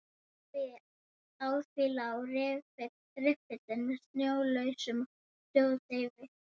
Á því lá riffill með sjónauka og hljóðdeyfi.